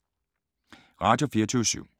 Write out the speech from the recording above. Radio24syv